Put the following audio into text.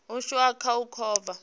ashu a kha u kovha